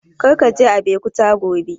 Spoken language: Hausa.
Kar ka je Abeokuta gobe!